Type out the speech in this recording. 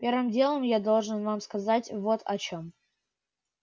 первым делом я должен вам сказать вот о чем